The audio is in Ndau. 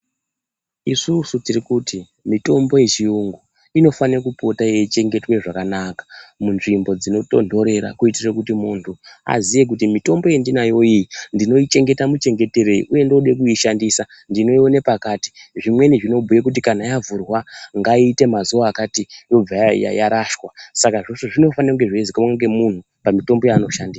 Isusu tiri kuti mitombo yechiyungu inofanira kupota yeichengetwa zvakanaka munzvimbo dzinotontorera, kuitire kuti muntu aziye kuti mitombo yandinayo iyi ndinochengeta muchengeterei, uye ndoda kuishandisa ndinoiona pakati. Zvimweni zvinobhuya kuti kana yavhurwa ngaiite mazuwa akati yobva yarashwa. Saka zveshe zvinofanira kunge zveizikanwa ngemuntu pamutombo yaanoshandisa.